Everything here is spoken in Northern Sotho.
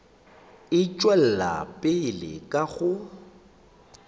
e tšwela pele ka go